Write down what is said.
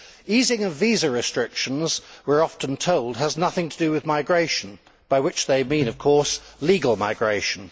Easing visa restrictions, we are often told, has nothing to do with migration, by which they mean, of course, legal migration.